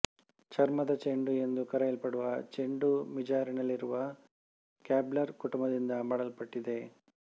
ಚರ್ಮದ ಚೆಂಡು ಎಂದು ಕರೆಯಲ್ಪಡುವ ಚೆಂಡು ಮಿಜಾರಿನಲ್ಲಿರುವ ಕಾಬ್ಲರ್ ಕುಟುಂಬದಿಂದ ಮಾಡಲ್ಪಟ್ಟಿದೆ